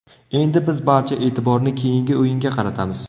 Endi biz barcha e’tiborni keyingi o‘yinga qaratamiz.